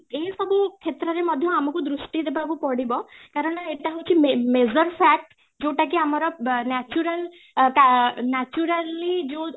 ଏ ସବୁ କ୍ଷେତ୍ରରେ ମଧ୍ୟ ଆମକୁ ଦୃଷ୍ଟି ଦେବାକୁ ପଡିବ କାରଣ ଏତ ହଉଛି major fact ଯୋଉଟା କି ଆମର natural ଅ ତା naturally ଯୋଉ